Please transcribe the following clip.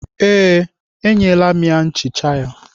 Ee, enyela m ya nchicha ya.